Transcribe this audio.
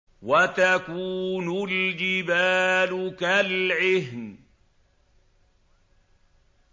وَتَكُونُ الْجِبَالُ كَالْعِهْنِ